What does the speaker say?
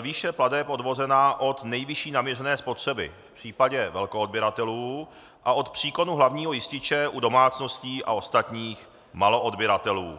výše plateb odvozena od nejvyšší naměřené spotřeby v případě velkoodběratelů a od příkonu hlavního jističe u domácností a ostatních maloodběratelů.